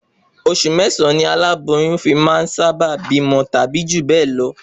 Osù mẹ́sàn-án ni olóyún fi máà sá bá bí ọmọ tàbí jù bẹ́ẹ̀ lọ